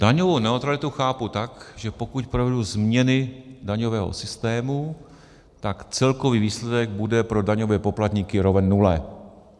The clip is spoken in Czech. Daňovou neutralitu chápu tak, že pokud provedu změny daňového systému, tak celkový výsledek bude pro daňové poplatníky roven nule.